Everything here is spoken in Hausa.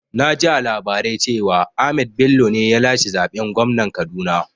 Naji a labarai cewa Ahmad Bello ne ya lashe zaɓen gwamnan Kaduna